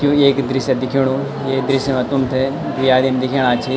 यू एक दृश्य दिख्याणु ये दृश्य में तुम थें दुइ आदमी दिख्येणा छिन।